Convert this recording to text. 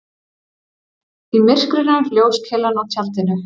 Í myrkrinu ljóskeilan á tjaldinu.